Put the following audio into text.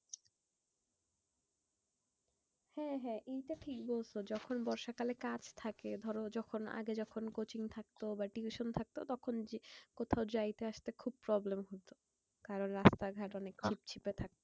হ্যাঁ হ্যাঁ এইটা ঠিক বলছো। যখন বর্ষা কালে কাজ থাকে ধরো যখন আগে যখন coaching থাকতো বা tuition থাকতো তখন কোথাও যাইতে আসতে খুব problem হতো। কারণ রাস্তা ঘাট অনেক ছিপছিপে থাকতো।